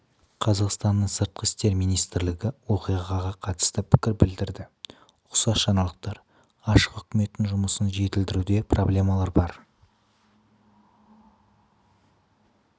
қазақстанның сыртқы істер министрлігі оқиғаға қатысты пікір білдірді ұқсас жаңалықтар ашық үкіметтің жұмысын жетілдіруде проблемалар бар